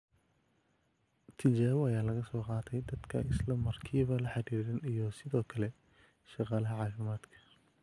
Tijaabo ayaa laga soo qaatay dadka ay isla markiiba la xiriireen iyo sidoo kale shaqaalaha caafimaadka.